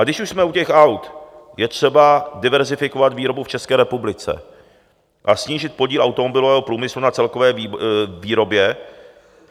A když už jsme u těch aut, je třeba diverzifikovat výrobu v České republice a snížit podíl automobilového průmyslu na celkové výrobě.